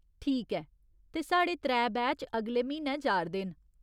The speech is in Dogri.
ठीक ऐ। ते साढ़े त्रै बैच अगले म्हीनै जा'रदे न।